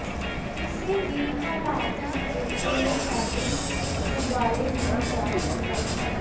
ਕਿਸੇ ਵੀ ਹਾਲਾਤ ਵਿਚ ਇਹ ਫੈਬਰਿਕ ਉਬਾਲੇ ਨਹੀਂ ਜਾ ਸਕਦਾ